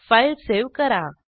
file save करा